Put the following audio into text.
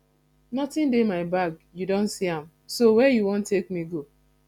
nothing dey my bag you don see am so where you wan take me go